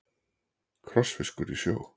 Krossfiskur í sjó.